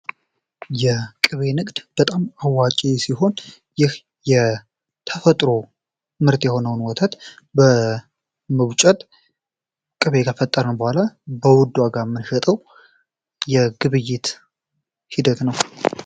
የቅቤ ንግድ በጣም አዋጪ ሲሆን ይህ የተፈጥሮ ምርት የሆነውን ወተት በመቡጭት ቅቤ ከፈጠርን በኋላ በውድ ዋጋ የምንሸጠው የግብይት ሂደት ነው።